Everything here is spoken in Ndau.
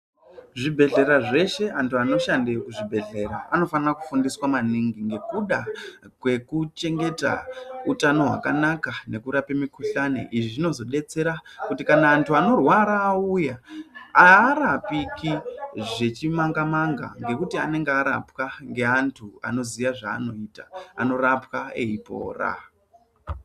Zvibhedhlera zveshe , antu anoshandeyo zvibhedhlera anofana kufundiswa maningi ngekuda kwenguchengeta utano hwakanaka nekurape mikuhlani , izvi zvinozodetsera kuti kana antu anorwara auya aarapiki zvechimanga manga ngekuti anenge arapwa neantu anoziya zvaanoita , anorapwa eipora